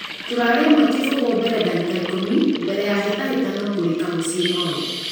Turari ĩmwe - kĩfũgũ mbere dagĩka ikũmi mbere ya hĩtahĩtano kurika mũciĩ norĩ